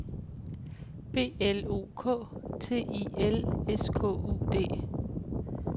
B L O K T I L S K U D